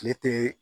Tile tɛ